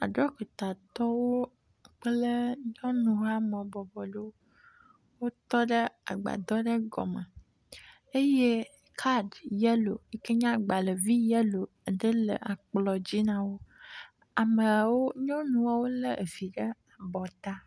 Aɖɔkitatɔ ɖewo kple nyɔnu habɔbɔ ɖewo wotɔ ɖe agbadɔ ɖe gome eye card yɛlo yike nye agbalẽvi yɛlo ɖe le akplɔ̃dzi nawo. Ameawo, nyɔnuawo le evi ɖe abɔ ta.